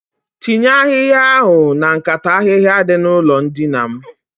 Tinye ahihaia ahụ na nkata ahihia dị n'ụlọ dina m